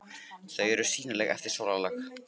Þau eru sýnileg eftir sólarlag.